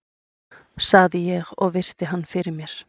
sagði ég og virti hann fyrir mér.